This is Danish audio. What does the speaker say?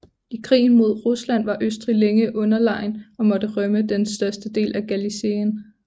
I krigen mod Rusland var Østrig længe underlegen og måtte rømme den største del af Galicien